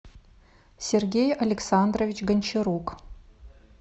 сергей александрович гончарук